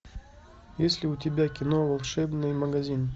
есть ли у тебя кино волшебный магазин